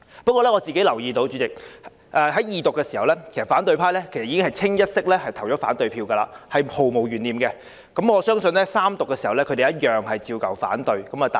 不過，主席，我留意到在《條例草案》二讀時，反對派已一致投下反對票，這是毫無懸念的，我相信在《條例草案》三讀時，他們一樣會反對。